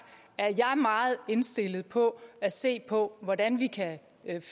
er jeg meget indstillet på at se på hvordan vi kan